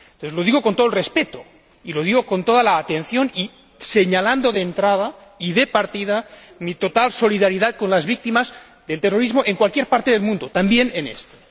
Lo digo con todo el respeto y lo digo con toda la atención y señalando, de entrada y de partida, mi total solidaridad con las víctimas del terrorismo en cualquier parte del mundo, también en este.